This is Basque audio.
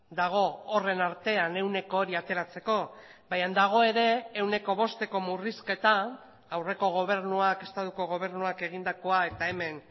dago horren artean ehuneko hori ateratzeko baina dago ere ehuneko bosteko murrizketa aurreko gobernuak estatuko gobernuak egindakoa eta hemen